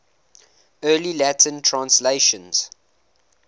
early latin translations